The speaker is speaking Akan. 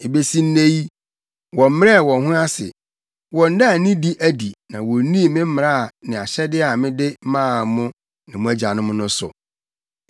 Ebesi nnɛ yi, wɔmmrɛɛ wɔn ho ase, wɔnnaa nidi adi na wonnii me mmara ne ahyɛde a mede maa mo ne mo agyanom no so.